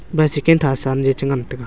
bicycle thasan je changan taga.